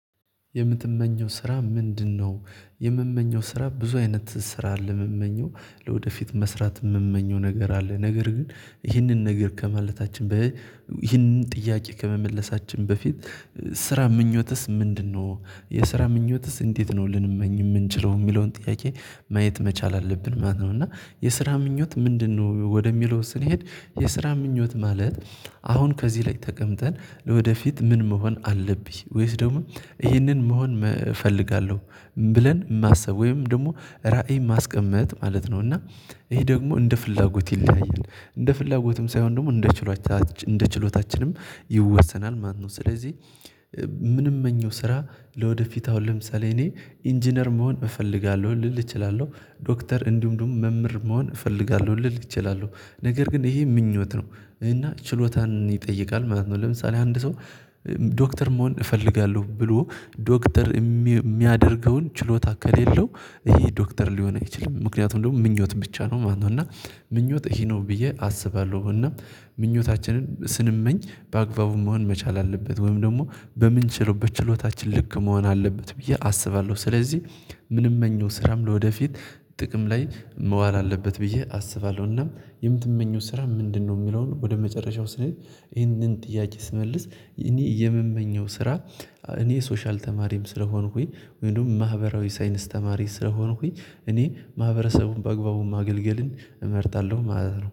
የምትመኘው ስራ ምንድነው? የምመኘው ስራ ብዙ አይነት ስራ አለ የምመኘው ለወደፊት መስራት የምመኘው ነገር አለ ነገር ግን ይህንን ነገር ከማለታችን በይ ይህንን ጥያቄ ከመመለሳችን በፊት ስራ ምኞትስ ምንድነው? የስራ ምኞትስ እንዴት ነው ልንመኝ የምንችለው የሚለውን ጥያቄ ማየት መቻል አለብን ማለት ነው። እና የስራ ምኞት ምንድነው ወደሚለው ስንሄድ የስራ ምኞት ማለት አሁን ከዚህ ላይ ተቀምጠን ለወደፊት ምን መሆን አለብኝ ወይስ ደግሞ ይህንን መሆን እፈልጋለሁ ብለን ማስብ ወይም ደግሞ ራዕይ ማስቀመጥ ማለት ነው። እና ይሄ ደግሞ እንደ ፍላጎት ይለያያል እንደ ፍላጎትም ሳይሆን ደግሞ እንደ ችሎታችን እንደ ችሎታችንም ይወሰናል። ማነው ስለዚህ ምንመኘው ስራ ለወደፊት አሁን ለምሳሌ እኔ ኢንጂነር መሆን እፈልጋለሁ። ልል እችላለሁ ዶክተር እንዲሁም ደግሞ መምህር መሆን እፈልጋለሁ ልል እችላለሁ ነገር ግን ይሄ ምኞት ነው እና ችሎታን ይጠይቃል ማለት ነው። ለምሳሌ አንድ ሰው ዶክተር መሆን እፈልጋለሁ ብሎ ዶክተር የሚያደርገውን ችሎታ ከሌለው ይሄ ዶክተር ሊሆን አይችልም። ምክንያቱም ደግሞ ምኞት ብቻ ነው ማነው እና ምኞት ይሄ ነው ብዬ አስባለሁ። እና ምኞታችንን ስንመኝ በአግባቡ መሆን መቻል አለበት ወይም ደግሞ በምንችለው በችሎታችን ልክ መሆን አለበት ብዬ አስባለሁ። ስለዚህ ምንመኘው ስራም ለወደፊት ጥቅም ላይ መዋል አለበት ብዬ አስባለሁ። እና የምትመኘው ስራ ምንድነው? የሚለውን ወደ መጨረሻው ስንሄድ ይህንን ጥያቄ ስመልስ እኔ የምመኘው ስራ እኔ ሶሻል ተማሪም ስለሆንኩኝ ወይም ደግሞ ማህበራዊ ሳይንስ ተማሪ ስለሆንኩኝ እኔ ማህበረሰቡን በአግባቡ ማገልገልን እመርጣለሁ። ማለት ነው